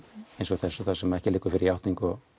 þessum þar sem ekki liggur fyrir játning og